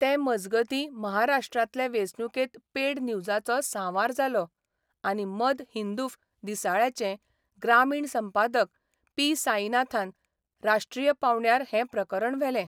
ते मजगतीं महाराष्ट्रांतले वेंचणुकेंत पेड न्यूजाचो सांवार जालो आनी मद हिंदूफ दिसाळ्याचे ग्रामीण संपादक पी साईनाथान राष्ट्रीय पावंड्यार हैं प्रकरण व्हेलें.